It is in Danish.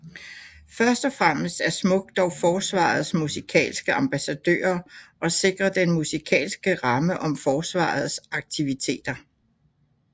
Først og fremmest er SMUK dog Forsvarets Musikalske Ambassadører og sikrer den musikalske ramme om Forsvarets aktiviteter